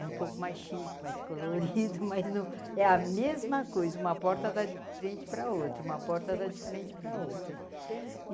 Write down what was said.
É um pouco mais chique, mais colorido, mas não... É a mesma coisa, uma porta dá de frente pra outra, uma porta dá de frente pra outra.